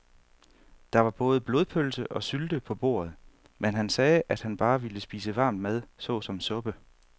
Der var både blodpølse og sylte på bordet, men han sagde, at han bare ville spise varm mad såsom suppe.